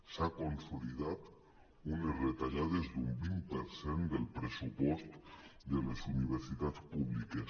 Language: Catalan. s’ha consolidat unes retallades d’un vint per cent del pressupost de les universitats públiques